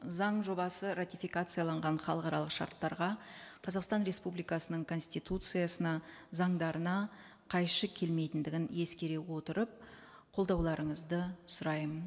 заң жобасы ратификацияланған халықаралық шарттарға қазақстан республикасының конституциясына заңдарына қайшы келмейтіндігін ескере отырып қолдауларыңызды сұраймын